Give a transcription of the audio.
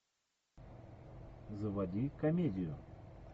заводи комедию